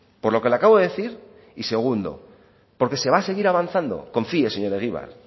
por lo que le acabo de decir y segundo porque se va a seguir avanzando confíe señor egibar